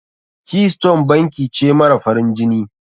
Keystone banki ce mara farin jini.